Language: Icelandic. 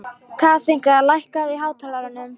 Kathinka, lækkaðu í hátalaranum.